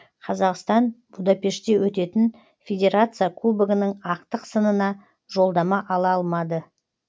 қазақстан будапештте өтетін федерация кубогының ақтық сынына жолдама ала алмады